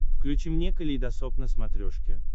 включи мне калейдосоп на смотрешке